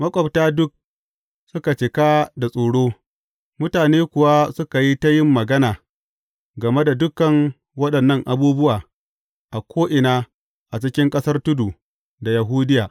Maƙwabta duk suka cika da tsoro, mutane kuwa suka yi ta yin magana game da dukan waɗannan abubuwa a ko’ina a cikin ƙasar tudu ta Yahudiya.